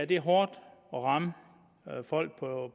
det er hårdt at ramme folk